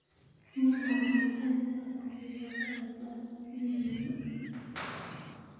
mii kamuktaet agetugul nebo ropta wigini ii